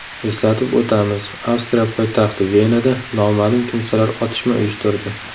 Eslatib o‘tamiz, Avstriya poytaxti Venada noma’lum kimsalar otishma uyushtirdi .